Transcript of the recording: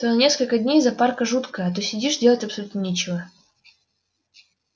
то на несколько дней запарка жуткая а то сидишь делать абсолютно нечего